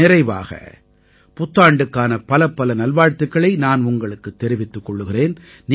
நிறைவாக புத்தாண்டுக்கான பலப்பல நல்வாழ்த்துக்களை நான் உங்களுக்குத் தெரிவித்துக் கொள்கிறேன்